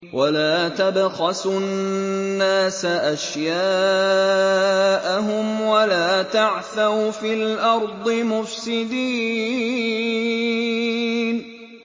وَلَا تَبْخَسُوا النَّاسَ أَشْيَاءَهُمْ وَلَا تَعْثَوْا فِي الْأَرْضِ مُفْسِدِينَ